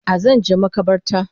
A Zanje makabarta